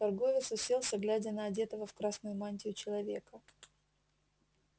торговец уселся глядя на одетого в красную мантию человека